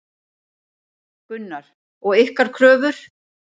Gunnar: Og ykkar kröfur?